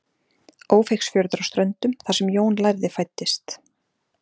ófeigsfjörður á ströndum þar sem jón lærði fæddist